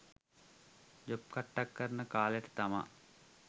job කට්ටක් කරන කාලෙට තමා